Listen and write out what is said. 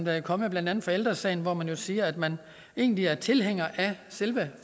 er kommet blandt andet fra ældre sagen hvor man jo siger at man egentlig er tilhænger af selve